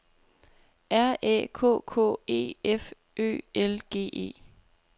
R Æ K K E F Ø L G E